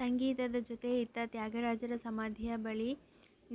ಸಂಗೀತದ ಜೊತೆ ಇತ್ತ ತ್ಯಾಗರಾಜರ ಸಮಾಧಿಯ ಬಳಿ